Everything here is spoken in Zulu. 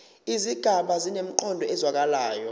izigaba zinemiqondo ezwakalayo